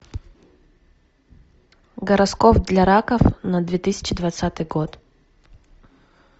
гороскоп для раков на две тысячи двадцатый год